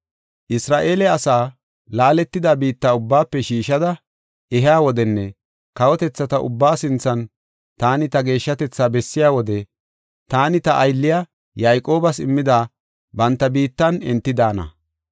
“Isra7eele asaa laaletida biitta ubbaafe shiishada ehiya wodenne kawotethata ubbaa sinthan taani ta geeshshatetha bessiya wode, taani ta aylliya Yayqoobas immida banta biittan enti daana.